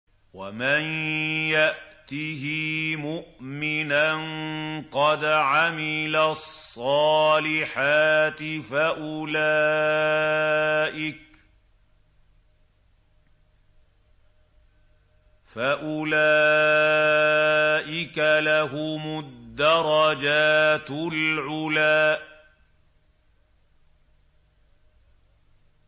وَمَن يَأْتِهِ مُؤْمِنًا قَدْ عَمِلَ الصَّالِحَاتِ فَأُولَٰئِكَ لَهُمُ الدَّرَجَاتُ الْعُلَىٰ